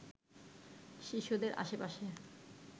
শিশুদের আশেপাশে